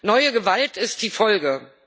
Neue Gewalt ist die Folge.